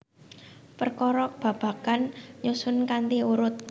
Perkara babagan nyusun kanthi urut